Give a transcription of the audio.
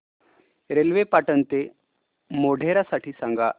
railway Patan ते मोढेरा साठी सांगा